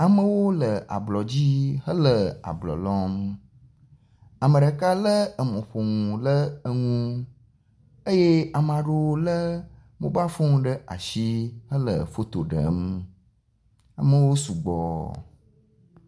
Amewo le ablɔdzi hele ablɔ lɔm, ame ɖeka lé emɔƒonu le enu eye amea ɖewo lé mobal fon ɖe asi hele foto ɖem. Amewo sugbɔ.